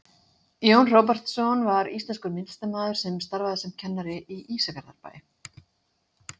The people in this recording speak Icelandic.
jón hróbjartsson var íslenskur myndlistarmaður sem starfaði sem kennari í ísafjarðarbæ